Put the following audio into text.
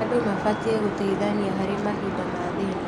Andũ mabatiĩ gũteithania harĩ mahinda ma thĩĩna.